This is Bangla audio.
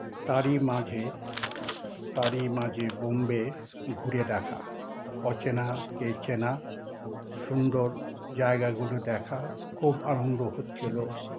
তার ই মাঝে তার ই মাঝে বোম্বে ঘুরে দেখা অচেনা কে চেনা সুন্দর জায়গাগুলো দেখা খুব আনন্দ হচ্ছিল